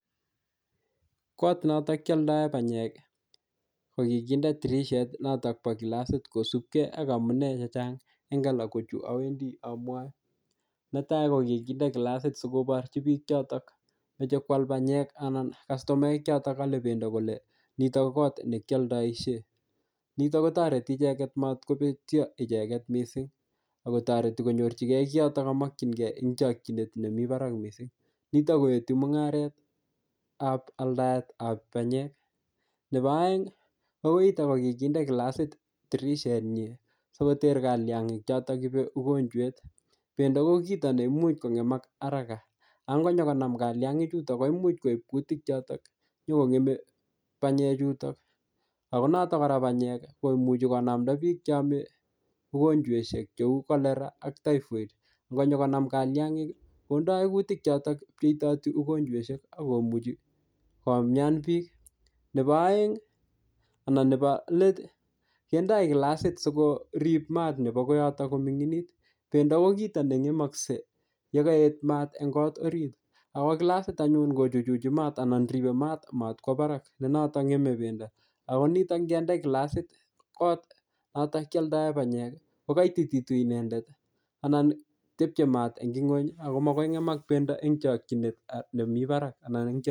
Kot notok kioldoe panyek ko kikinde dirishet noto bo kilasit kosupkei ak amune chechang' eng' alak ko chu awendi amwoe netai ko kikinde kilasit sikoborchi biik chotok mochei kwal panyek anan kastomaek choto olei bendo kole nitok ko koot nekioldoishe nito kotoreti icheget matkopetyo icheget mising' akotoreti konyorchingei kiyotok kamokchingei ing' chokchinet nemi barak mising' nito koeti mung'aretab aldaetab panyek nebo oeng' ko koitok ko kikinde kilasit dirishenyi sikoter kalyang'ik choto ibei ugonjwet bendo ko kito ne imuch kong'emak haraka ako ngonyikonam kaliang'ichuto ko imuch koip kutik chotok nyikong'emei panyechuton ako noto kora panyek ko imuchi konamta biik cheome ugonjweshek cheu cholera ak typhoid ngonyikonam kaliang'ik kondoi kutik chotok pcheitoti ugonjweshek akomuchi komyaan biik nebo let kendoi kilasit sikorip maat nebo koyotok komining'it bendo ko kito neng'emoskei yekaet maat eng' kot orit ako kilasit anyun kochuchuchi maat anan ripei maat matkwo barak ne notok ng'emei bendo ako nitok ngende kilasit kot notok kioldoe panyek kokoitititu inendet anan tepchei maat eng' ng'wony akoi makoi kong'emak bendo eng' chokchinet nemi barak